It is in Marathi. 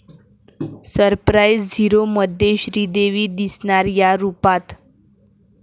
सरप्राईझ! 'झीरो'मध्ये श्रीदेवी दिसणार 'या' रूपात